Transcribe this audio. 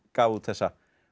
gaf út þessa